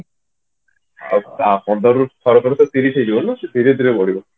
ଆଉ ପନ୍ଦରରୁ ଥରକରେ ତ ତିରିଶ ହେଇଯିବନି ନା ସେ ଧୀରେ ଧୀରେ ବଢିବ